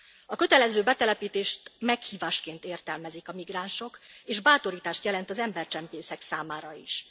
A kötelező betelepítést meghívásként értelmezik a migránsok és bátorítást jelent az embercsempészek számára is.